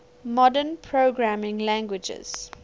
modern programming languages